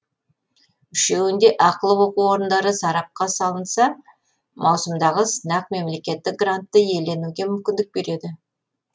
үшеуінде ақылы оқу орындары сарапқа салынса маусымдағы сынақ мемлекеттік грантты иеленуге мүмкіндік береді